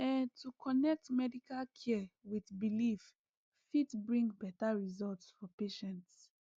ehn to connect medical care with belief fit bring better results for patients